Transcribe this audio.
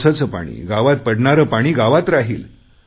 पावसाचे पाणी गावात पडणारे पाणी गावात राहील